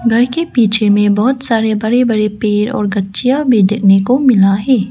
घर के पीछे में बहुत सारे बड़े बड़े पेड़ और गच्चियां भी देखने को मिला है।